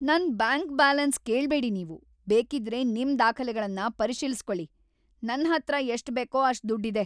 ನನ್ bank balance ಕೇಳ್ಬೇಡಿ ನೀವು. ಬೇಕಿದ್ರೆ ನಿಮ್ ದಾಖಲೆಗಳ್ನ ಪರಿಶೀಲ್ಸ್‌ಕೊಳಿ. ನನ್ಹತ್ರ ಎಷ್ಟ್‌ ಬೇಕೋ ಅಷ್ಟ್‌ ದುಡ್ಡ್‌ ಇದೆ.